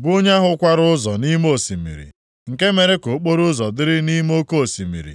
bụ onye ahụ kwara ụzọ nʼime osimiri, nke mere ka okporoụzọ dịrị nʼime oke osimiri.